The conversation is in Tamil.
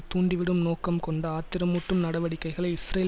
தூண்டிவிடும் நோக்கம் கொண்ட ஆத்திரமூட்டும் நடவடிக்கைகளை இஸ்ரேல்